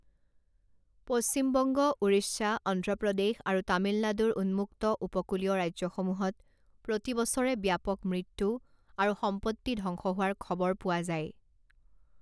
পশ্চিম বংগ, উৰিষ্যা, অন্ধ্ৰ প্ৰদেশ আৰু তামিলনাডুৰ উন্মুক্ত উপকূলীয় ৰাজ্যসমূহত প্ৰতি বছৰে ব্যাপক মৃত্যু আৰু সম্পত্তি ধ্বংস হোৱাৰ খবৰ পোৱা যায়।